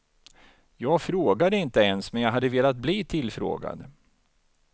Jag frågade inte ens, men jag hade velat bli tillfrågad.